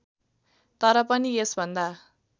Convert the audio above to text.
तर पनि यसभन्दा